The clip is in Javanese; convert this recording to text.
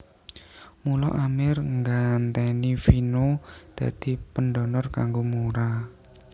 Mula Amir nggantèni Vino dadi pendonor kanggo Mura